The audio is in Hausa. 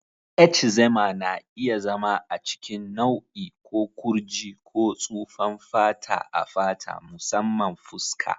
Eczema na iya zama a cikin nau'i ko kurji ko tsufan fata a fata, musamman fuska.